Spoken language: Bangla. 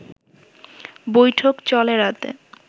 বৈঠক চলে রাত